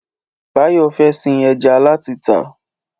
Báyọ̀ fẹ́ sin ẹja láti tà